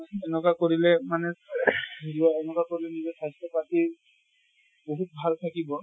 সেনেকুৱা কৰিলে মানে সেনেকুৱা কৰিলে মানে স্বাস্থ্য় পাতি বহুত ভাল থাকিব ।